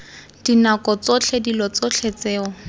dinako tsotlhe dilo tsotlhe tseo